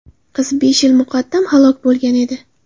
Qiz besh yil muqaddam halok bo‘lgan edi.